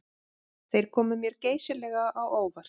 Þeir komu mér geysilega á óvart